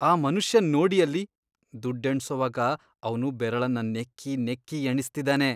ಆ ಮನುಷ್ಯನ್ ನೋಡಿ ಅಲ್ಲಿ. ದುಡ್ಡ್ ಎಣ್ಸೋವಾಗ ಅವ್ನು ಬೆರಳನ್ನ ನೆಕ್ಕಿ ನೆಕ್ಕಿ ಎಣಿಸ್ತಿದಾನೆ.